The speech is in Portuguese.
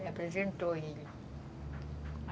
Me apresentou ele.